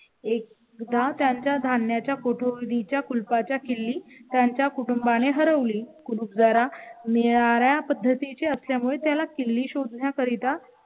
एक दात्यांच्या धान्या च्या कोठडी च्या कुलपा च्या किल्ली त्यांच्या कुटुंबा ने हरवली. कुरूप जरा निराळ्या पद्धतीचे असल्यामुळे त्याला किल्ली शोधण्या करिता